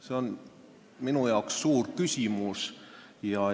See on minu jaoks suur küsimus.